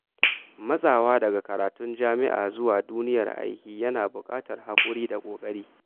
Matsawa daga karatun jami’a zuwa duniyar aiki yana buƙatar haƙuri da ƙoƙari.